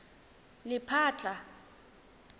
lephatla